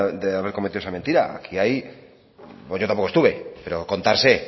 de haber cometido esa mentira aquí hay yo tampoco estuve pero contar sé